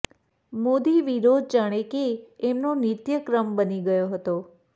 મોદી વિરોધ જાણે કે એમનો નિત્યક્રમ બની ગયો હતો